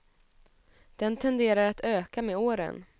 Den tenderar att öka med åren.